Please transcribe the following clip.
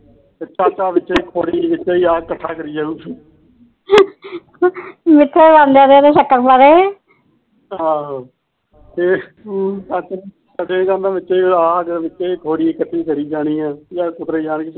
ਵਿਚੇ ਆਘ ਵਿਚੇ ਪੋੜੀ ਇਕੱਠੀ ਕਰੀ ਜਾਣੀ